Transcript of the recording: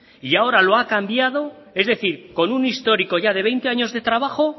y ahora lo ha cambiado es decir con un histórico ya de veinte años de trabajo